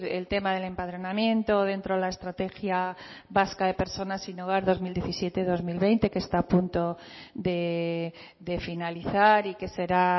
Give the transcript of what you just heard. el tema del empadronamiento dentro de la estrategia vasca de personas sin hogar dos mil diecisiete dos mil veinte que está a punto de finalizar y que será